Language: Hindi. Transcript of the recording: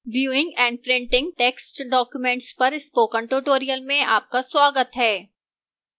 viewing and printing text documents पर spoken tutorial में आपका स्वागत है